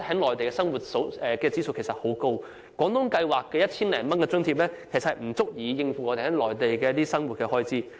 內地的生活指數現時十分高，在廣東計劃下的 1,000 多元津貼其實不足以應付內地生活開支。